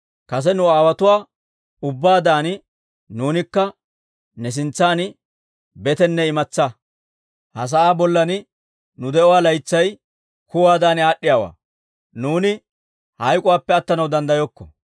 Kase nu aawotuwaa ubbaadan nuunikka ne sintsan betenne imatsaa. Ha sa'aa bollan nu de'uwaa laytsay kuwaadan aad'd'iyaawaa; nuuni hayk'oppe attanaw danddayokko.